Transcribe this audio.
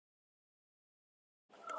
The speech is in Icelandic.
En þið vitið það.